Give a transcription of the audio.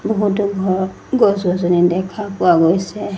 বহুতো ঘৰ গছ-গছনি দেখা পোৱা গৈছে।